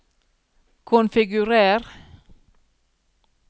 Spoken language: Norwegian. konfigurer